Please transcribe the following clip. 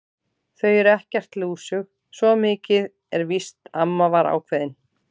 Þau eru ekkert lúsug, svo mikið er víst amma var ákveðin.